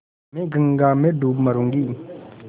मैं गंगा में डूब मरुँगी